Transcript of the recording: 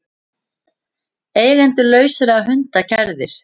Eigendur lausra hunda kærðir